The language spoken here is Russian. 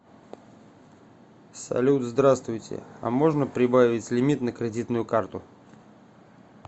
салют здравствуйте а можно прибавить лимит на кредитную карту